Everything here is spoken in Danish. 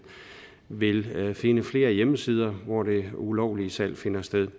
vil man finde flere hjemmesider hvor det ulovlige salg finder sted